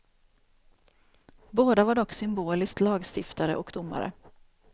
Båda var dock symboliskt lagstiftare och domare.